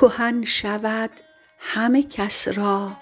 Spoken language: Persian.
کهن شود همه کس را